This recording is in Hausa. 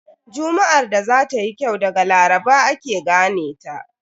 Juma'ar da za tayi kyau daga Laraba ake gane ta.